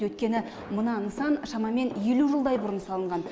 өйткені мына нысан шамамен елу жылдай бұрын салынған